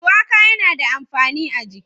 shuwaka yana da amfani a jiki.